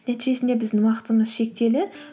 нәтижесінде біздің уақытымыз шектеулі